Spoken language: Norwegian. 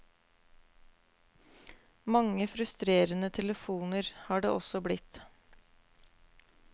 Mange frustrerende telefoner har det også blitt.